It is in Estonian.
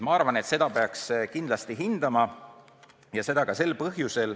Ma arvan, et seda peaks kindlasti hindama.